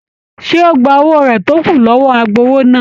Ṣé o gbà owó rẹ tó kù lọwọ agbowó náà?